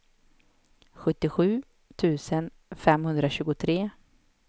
sjuttiosju tusen femhundratjugotre